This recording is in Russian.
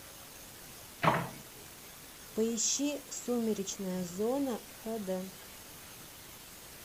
поищи сумеречная зона хэ дэ